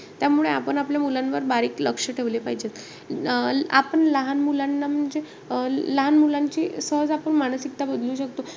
त्यामुळे आपण आपल्या मुलांवर बारीक लक्ष ठेवले पाहिजे. आपण लहान मुलांना म्हणजे अं लहान मुलांची सहज आपण मानसिकता बदलू शकतो.